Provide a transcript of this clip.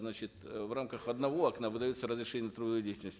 значит э в рамках одного окна выдается разрешение на трудовую деятельность